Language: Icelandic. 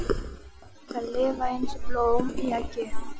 Þær lifa eins og blóm í eggi.